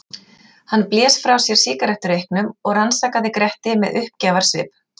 Hann blés frá sér sígarettureyknum og rannsakaði Gretti með uppgjafarsvip.